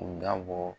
U dabɔ